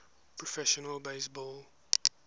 professional base ball